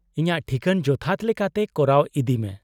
-ᱤᱧᱟᱹᱜ ᱴᱷᱤᱠᱟᱹᱱ ᱡᱚᱛᱷᱟᱛ ᱞᱮᱠᱟᱛᱮ ᱠᱚᱨᱟᱣ ᱤᱫᱤ ᱢᱮ ᱾